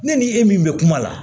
Ne ni e min bɛ kuma la